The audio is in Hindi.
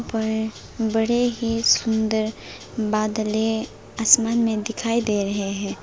पर बड़े ही सुंदर बादलें आसमान में दिखाई दे रहे हैं।